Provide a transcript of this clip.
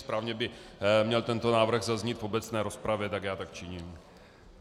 Správně by měl tento návrh zaznít v obecné rozpravě, tak já tak činím.